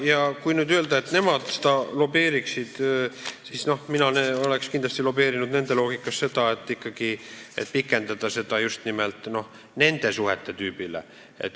Ja kui nüüd öelda, et nemad võiksid lobeerida, siis mina oleks nende loogika järgi kindlasti lobeerinud seda, et pikendada seda tähtaega just nimelt neid puudutavate võlasuhete korral.